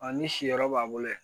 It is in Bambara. ni si yɔrɔ b'a bolo yen